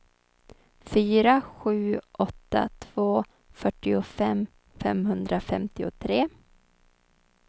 fyra sju åtta två fyrtiofem femhundrafemtiotre